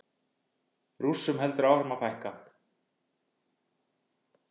Rússum heldur áfram að fækka